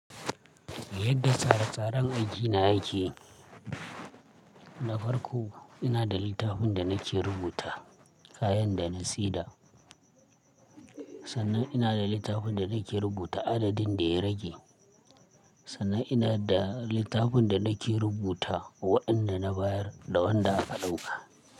Yadda tsare-tsaren aiki na yake, na farko ina da littafin da nake rubuta kayan da na saiɗa. Sannan ina da littafin da nake rubuta adadin da ya rage. Sannan ina da littafin da nake rubuta waɗanda na bayar da wanda aka ɗauka.